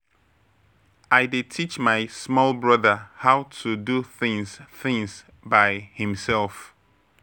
I dey teach my small brother how to do things things by himself.